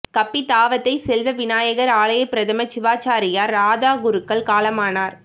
கப்பித்தாவத்தை செல்வ விநாயகர் ஆலய பிரதம சிவாச்சாரியார் ராதா குருக்கள் காலமானார்